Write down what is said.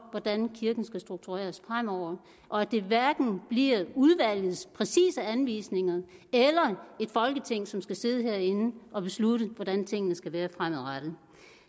hvordan kirken skal struktureres fremover og at det hverken bliver udvalgets præcise anvisninger eller et folketing som skal sidde herinde og beslutte hvordan tingene skal være fremadrettet